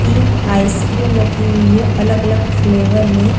तीन ice cream रखी हुई है अलग- अलग फ्लेवर में --